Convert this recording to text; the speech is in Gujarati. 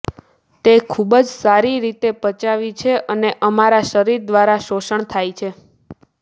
તે ખૂબ જ સારી રીતે પચાવી છે અને અમારા શરીર દ્વારા શોષણ થાય છે